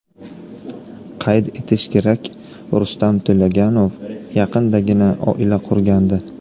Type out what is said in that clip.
Qayd etish kerak, Rustam To‘laganov yaqindagina oila qurgandi .